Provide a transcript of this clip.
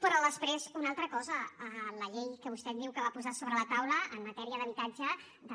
però després una altra cosa la llei que vostè diu que va posar sobre la taula en matèria d’habitatge de